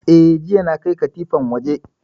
Eh, jiya na kai katifan waje